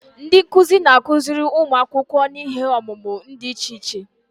Ndị nkuzi na-akụziri ụmụ akwụkwọ n'ihe ọmụmụ dị iche iche.